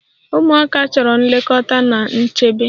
Ụmụaka chọrọ nlekọta na nchebe.